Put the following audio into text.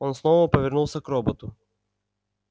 он снова повернулся к роботу